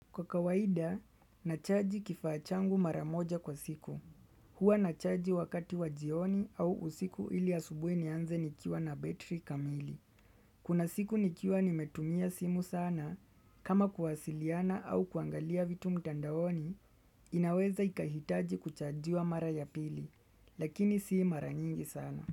Kwa kawaida, nachaji kifaa changu mara moja kwa siku. Huwa nachaji wakati wa jioni au usiku ili asubuhi nianze nikiwa na betri kamili. Kuna siku nikiwa nimetumia simu sana, kama kuwasiliana au kuangalia vitu mtandaoni, inaweza ikahitaji kuchajiwa mara ya pili, lakini si mara nyingi sana.